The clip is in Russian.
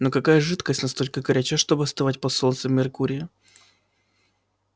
но какая жидкость настолько горяча чтобы остывать под солнцем меркурия